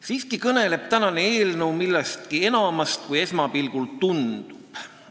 Siiski kõneleb tänane eelnõu millestki enamast, kui esmapilgul tundub.